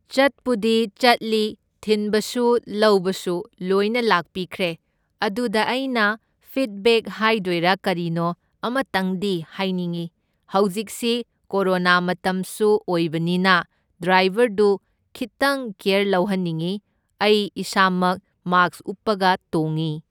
ꯆꯠꯄꯨꯗꯤ ꯆꯠꯂꯤ, ꯊꯤꯟꯕꯁꯨ ꯂꯧꯕꯁꯨ ꯂꯣꯏꯅ ꯂꯥꯛꯄꯤꯈ꯭ꯔꯦ, ꯑꯗꯨꯗ ꯑꯩꯅ ꯐꯤꯠꯕꯦꯛ ꯍꯥꯏꯗꯣꯏꯔꯥ ꯀꯔꯤꯅꯣ ꯑꯃꯇꯪꯗꯤ ꯍꯥꯏꯅꯤꯡꯢ, ꯍꯧꯖꯤꯛꯁꯤ ꯀꯣꯔꯣꯅꯥ ꯃꯇꯝꯁꯨ ꯑꯣꯏꯕꯅꯤꯅ ꯗ꯭ꯔꯥꯏꯕꯔꯗꯨ ꯈꯤꯠꯇꯪ ꯀ꯭ꯌꯦꯔ ꯂꯧꯍꯟꯅꯤꯡꯢ, ꯑꯩ ꯏꯁꯥꯃꯛ ꯃꯥꯛꯁ ꯎꯞꯄꯒ ꯇꯣꯡꯢ꯫